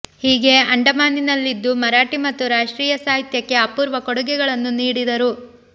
ಹೀಗೆ ಅಂಡಮಾನಿನಲ್ಲಿದ್ದು ಮರಾಠಿ ಮತ್ತು ರಾಷ್ಟ್ರೀಯ ಸಾಹಿತ್ಯಕ್ಕೆ ಅಪೂರ್ವ ಕೊಡುಗೆಗಳನ್ನು ನೀಡಿದರು